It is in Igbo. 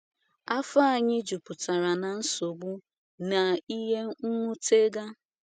Áfò anyị juputara na “nsogbu na ihe nwutega.”